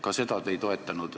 Ka seda te ei toetanud.